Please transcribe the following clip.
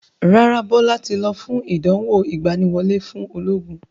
Rárá, Bọlá tí lọ fún ìdánwò ìgbàníwọlé fún ológun